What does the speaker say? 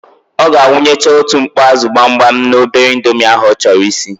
Ọ ga-awụnyecha otu mkpọ ázụ̀ gbamgbam n'obere indomi ahụ ọ chọrọ isi.